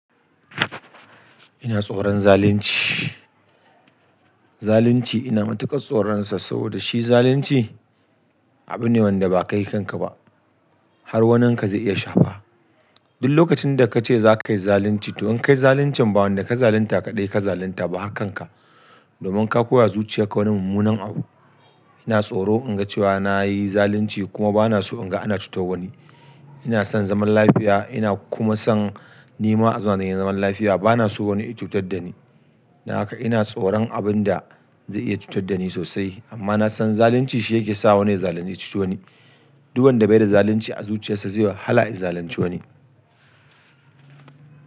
Ina tsoron zalunci. Zalunci ina matuƙa tsoron sa saboda shi zalunci abu ne wanda ba kai kanka ba har wanin ka zai iya shafa. Duk lokacin da ka ce za ka yi zalunci, to in ka yi zaluncin ba wanda ka zalunta kaɗai ka zalunta ba hakanka. Domin ka koyawa zuciyan ka wani mummunan abu. Ina tsoro in ga cewa na yi zalunci kuma ba na so in ga ana cutar wa wani. Ina son zaman lafiya, ina kuma son ni ma a zauna dani zaman lafiya. Ba na so wani ya cutar da ni. Don haka ina tsoron abin da zai iya cutar da ni sosai, amma na san zalunci shi yake sa wani ya zalunci ya cuce wani. Duk wanda bai da zalunci a zuciyarsa zai yi wahala ya zalunci wa ni.